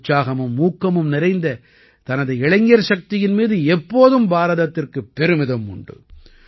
உற்சாகமும் ஊக்கமும் நிறைந்த தனது இளைஞர் சக்தியின் மீது எப்போதும் பாரதத்திற்கு பெருமிதம் உண்டு